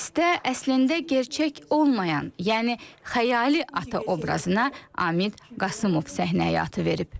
Pyasda əslində gerçək olmayan, yəni xəyali ata obrazına Amid Qasımov səhnə həyatı verib.